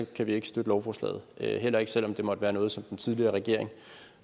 kan vi ikke støtte lovforslaget og heller ikke selv om det måtte være noget som den tidligere regering